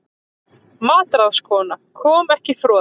MATRÁÐSKONA: Kom ekki froða?